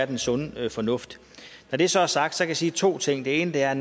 den sunde fornuft når det så er sagt kan jeg sige to ting den ene er